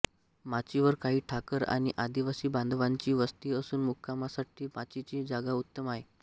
माचीवर काही ठाकर आणि आदिवासी बांधवांची वस्ती असून मुक्कामासाठी माचीची जागा उत्तम आहे